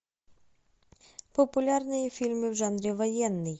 популярные фильмы в жанре военный